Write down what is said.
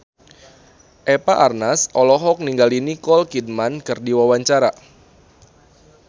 Eva Arnaz olohok ningali Nicole Kidman keur diwawancara